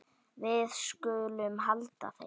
Við skulum halda heim.